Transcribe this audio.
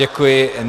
Děkuji.